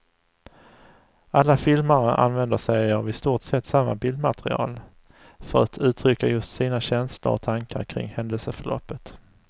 Alla filmare använder sig av i stort sett samma bildmaterial för att uttrycka just sina känslor och tankar kring händelseförloppet.